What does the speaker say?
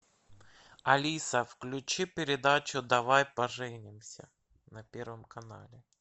алиса включи передачу давай поженимся на первом канале